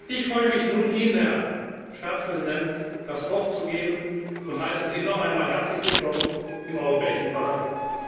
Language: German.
Ich freue mich nun, Ihnen, Herr Staatspräsident, das Wort zu erteilen, und heiße Sie noch einmal herzlich willkommen im Europäischen Parlament.